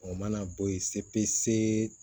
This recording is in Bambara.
O mana bɔ yen se pese